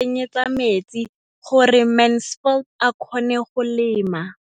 O ne gape a mo tsenyetsa metsi gore Mansfield a kgone go lema.